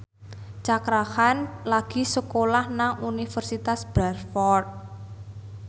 Cakra Khan lagi sekolah nang Universitas Bradford